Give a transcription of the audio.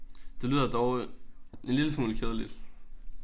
Det lyder dog en lille smule kedeligt